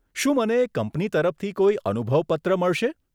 શું મને કંપની તરફથી કોઈ અનુભવ પત્ર મળશે?